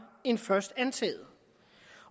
end først antaget